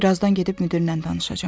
Bir azdan gedib müdirlə danışacam.